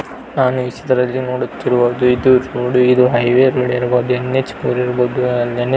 ನಾನು ಈ ಚಿತ್ರದಲ್ಲಿ ನೋಡುತ್ತಿರುವುದು ಇದು ರೋಡ್ ಇದು ಹೈವೇ ರೋಡ್ ಇರಬಹುದು ಎನ್.ಎಚ್ ಮೂರು ಇರಬಹುದು ಆ ಎನ್.ಎಚ್ .